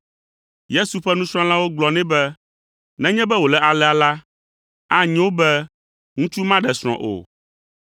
Yesu ƒe nusrɔ̃lawo gblɔ nɛ be, “Nenye be wòle alea la, anyo wu be ŋutsu maɖe srɔ̃ o.”